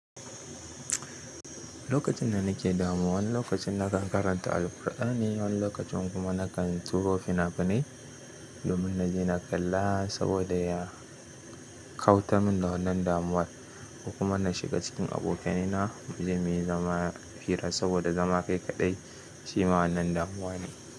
Lokacin da nake damuwa, wani lokacin nakan karanta Alqur'ani, wani lokacin kuma nakan tsiro fina-finai domin na je na kalla saboda ya kautan min da wannan damuwar. Kuma na shiga cikin abokanaina mu je muyi zama fira saboda zama kai kaɗai shi ma wannan damuwa ne.